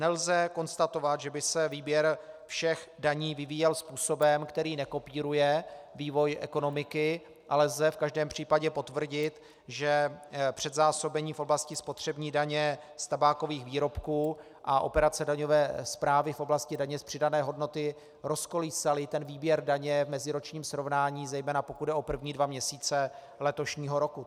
Nelze konstatovat, že by se výběr všech daní vyvíjel způsobem, který nekopíruje vývoj ekonomiky, ale lze v každém případě potvrdit, že předzásobení v oblasti spotřební daně z tabákových výrobků a operace daňové správy v oblasti daně z přidané hodnoty rozkolísaly ten výběr daně v meziročním srovnání, zejména pokud jde o první dva měsíce letošního roku.